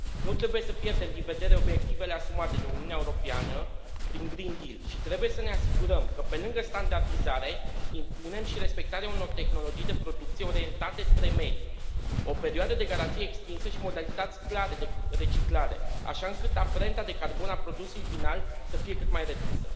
Nu trebuie să pierdem din vedere obiectivele asumate de Uniunea Europeană prin Green Deal și trebuie să ne asigurăm că, pe lângă standardizare, impunem și respectarea unor tehnologii de producție orientate spre mediu, o perioadă de garanție extinsă și modalități clare de reciclare, așa încât amprenta de carbon a produsului final să fie cât mai redusă.